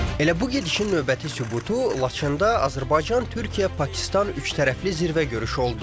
Elə bu gedişin növbəti sübutu Laçında Azərbaycan, Türkiyə, Pakistan üçtərəfli zirvə görüşü oldu.